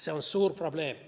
See on suur probleem.